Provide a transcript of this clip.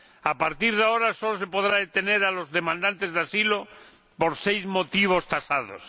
A partir de ahora solo se podrá detener a los demandantes de asilo por seis motivos tasados.